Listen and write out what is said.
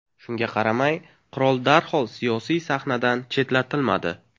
Shunga qaramay, qirol darhol siyosiy sahnadan chetlatilmadi.